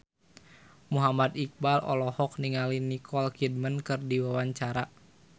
Muhammad Iqbal olohok ningali Nicole Kidman keur diwawancara